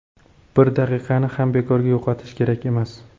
Bir daqiqani ham bekorga yo‘qotish kerak emas.